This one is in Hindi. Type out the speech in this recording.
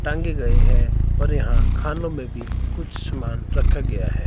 टांगे गए हैं और यहां खानो में भी कुछ समान रखा गया हैं।